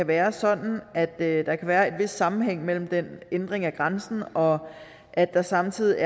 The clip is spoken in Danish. være sådan at der kan være en vis sammenhæng mellem den ændring af grænsen og at der samtidig